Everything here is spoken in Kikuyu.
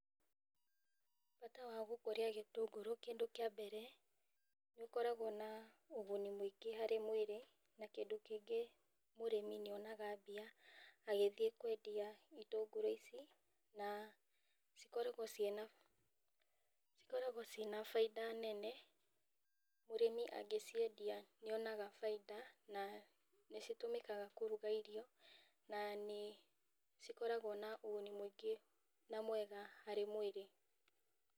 Bata wa gũkũria gĩtũngũrũ kĩndũ kĩa mbere nĩ gũkoragwo na ũguni mũingĩ harĩ mwĩrĩ, na kĩndũ kĩngĩ mũrĩmi nĩonaga agĩthiĩ kwendia itũngũrũ ici na cikoragwo, na cikoragwo ciĩna baita nene mũrĩmi angĩciendia nĩonaga baita na nĩ citũmĩkaga kũruga irio na nĩ cikoragwo na ũguni mũingĩ na mwega harĩ mwĩrĩ.